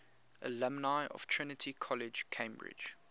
alumni of trinity college cambridge